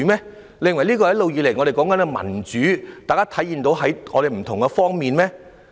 你認為這就是我們一直以來所說的民主，並在不同方面體現嗎？